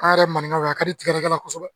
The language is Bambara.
An yɛrɛ mananikaw a ka di ne yɛrɛ kosɛbɛ